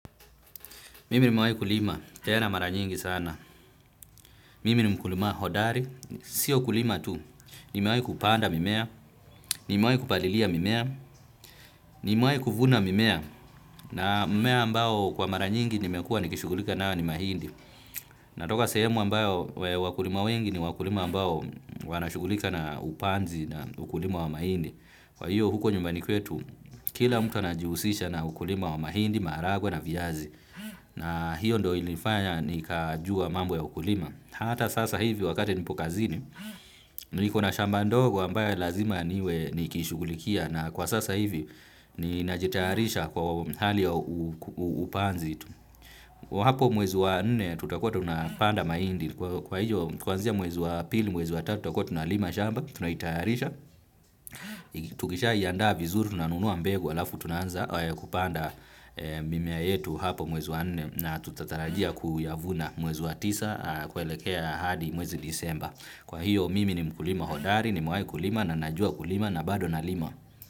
Mimi niwewahi kulima, tena mara nyingi sana mimi ni mkulima hodari, sio kulima tu, nimewahi kupanda mimea, nimewahi kupalilia mimea, nimewahi kuvuna mimea, na mmea ambao kwa mara nyingi nimekuwa nikishukulika nao ni mahindi. Natoka sehemu ambayo wakulima wengi ni wakulima ambao wanashughulika na upanzi na ukulima wa mahindi. Kwa hiyo huko nyumbani kwetu, kila mtu anajiusisha na ukulima wa mahindi, maharagwe na viazi. Na hiyo ndo ilinifanya nikajua mambo ya ukulima. Hata sasa hivi wakati nipo kazini, nikona shamba ndogo ambayo lazima niwe nikishughulikia na kwa sasa hivi ninajitayarisha kwa hali ya upanzi. Kwa hapo mwezi wa nne tutakua tunapanda mahindi, kwa hiyo kuanzia mwezi wa pili, mwezi wa tatu, tutakua tunalima shamba, tunaitayarisha. Tukishaiandaa vizuri, tunanunua mbegu, alafu tunanza kupanda mimea yetu hapo mwezi wa nne na tutatarajia kuyavuna mwezi wa tisa kuelekea hadi mwezi disemba. Kwa hiyo mimi ni mkulima hodari, nimewai kulima na najua kulima na bado nalima.